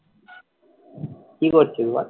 কী করছিস বল?